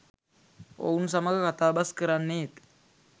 ඔවුන් සමග කතාබස් කරන්නේත්